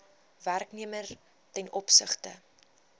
werknemer ten opsigte